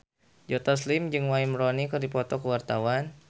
Joe Taslim jeung Wayne Rooney keur dipoto ku wartawan